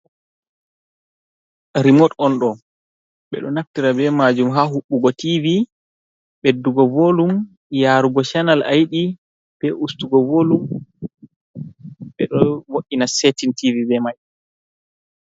Rimod on ɗo be ɗo naftira be majum ha hubugo tivi beddugo volum yarugo chanal a yiɗi be ustugo volum be do vo’ina setin tv be mai.